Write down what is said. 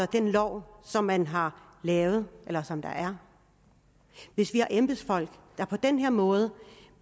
den lov som man har lavet eller som der er hvis vi har embedsfolk der på den her måde